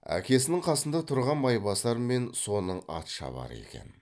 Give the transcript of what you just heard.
әкесінің қасында тұрған майбасар мен соның атшабары екен